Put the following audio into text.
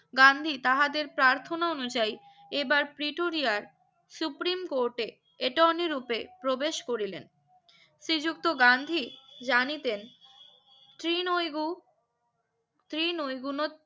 গান্ধী তাহাদের প্রার্থনা অনুযায়ী এবার পিটুরিয়াই Supreme Court এ attorney রুপে প্রবেশ করিলেন শ্রী যুক্ত গান্ধী জানিতেন ক্রিনৌই গু শ্রী নৌগুনোত